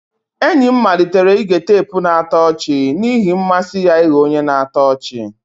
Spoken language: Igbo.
Enyi m malitere ige teepu na-atọ ọchị n'ihi mmasị ya ịghọ onye na-atọ ọchị.